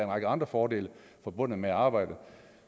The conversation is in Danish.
række andre fordele forbundet med at arbejde